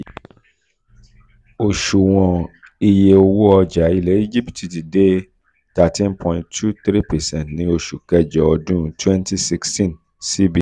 osuwon iye owó ọjà ilẹ̀ íjíbítì ti ti de thirteen point two three percent ní osu kejo odun twenty sixteenn cbe